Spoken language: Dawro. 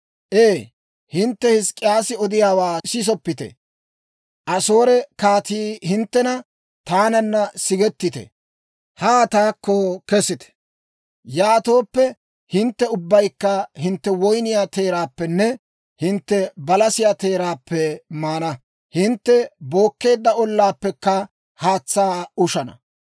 «Ee, hintte Hizk'k'iyaasi odiyaawaa sisoppite. Asoore kaatii hinttena, ‹Taananna sigetite; haa taakko kesite. Yaatooppe, hintte ubbaykka hintte woyniyaa teeraappenne hintte balasiyaa teeraappe maana; hintte bookkeedda ollaappekka haatsaa ushana.